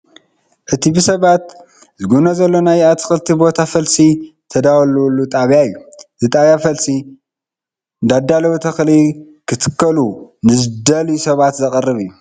እቲ ብሰባት ዝጉብነ ዘሎ ናይ ኣትክልቲ ቦታ ፈልሲ ዝዳለወሉ ጣብያ እያ፡፡ እዚ ጣብያ ፈልሲ እንዳዳለወ ተኽሊ ክተኽሉ ንዝደልዩ ሰባት ዘቕርብ እዩ፡፡